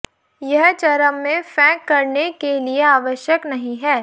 यह चरम में फेंक करने के लिए आवश्यक नहीं है